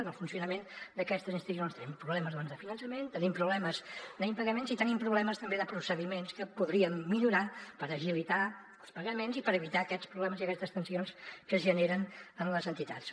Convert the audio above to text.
en el funcionament d’aquestes institucions tenim problemes doncs de finançament tenim problemes d’impagaments i tenim problemes també de procediments que podríem millorar per agilitar els pagaments i per evitar aquests problemes i aquestes tensions que es generen en les entitats